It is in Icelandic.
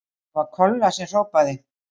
Það var Kolla sem hrópaði.